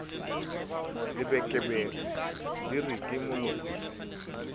lebekebeke di re ke moloi